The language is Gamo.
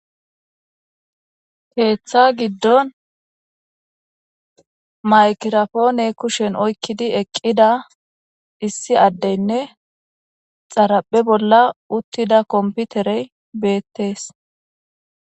Keeththa giddon maykirapoone kushen oykkidi eqqida issi addeynne xaraphe bolla uttida komputerey beettees.